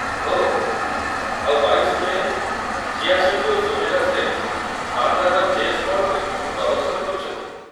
ଓଃ, ଆଉ ୨୨ ମେ'ରେ ଜିୟା ସେଠି ଓ ସୁମୈରା ଶେଖ ବାନ୍ଦ୍ରାର ଜେ ସ୍ପଟ୍‌ରେ ପ୍ରଦର୍ଶନ କରୁଛନ୍ତି।